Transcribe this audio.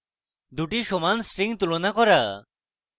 দুটি সমান strings তুলনা করা